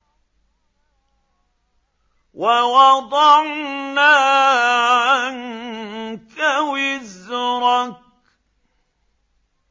وَوَضَعْنَا عَنكَ وِزْرَكَ